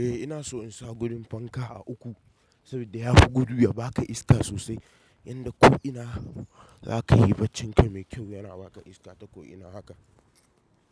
Eh ina so in sa gudun fanka a uku saboda ya fi gudu ya ba ka iska sosai, yadda ko'ina za ka yi bacci kai mai kyau yana ba ka iska ta ko'ina haka.